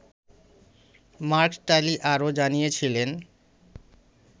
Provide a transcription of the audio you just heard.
mark Tully আরও জানিয়েছিলেন